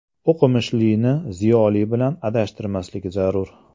O‘qimishlini ziyoli bilan adashtirmaslik zarur.